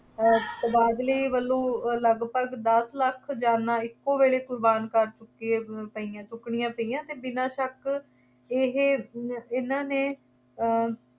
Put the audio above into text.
ਅਹ ਤਬਾਦਲੇ ਵੱਲੋਂ ਲਗਭਗ ਦੱਸ ਲੱਖ ਜਾਨਾਂ ਇੱਕੋ ਵੇਲੇ ਕੁਰਬਾਨ ਕਰ ਚੁੱਕੀਆ ਪਈਆਂ, ਚੁੱਕਣੀਆਂ ਪਈਆਂ ਅਤੇ ਬਿਨਾ ਸ਼ੱਕ ਇਹ ਇਹਨਾ ਨੇ ਅਹ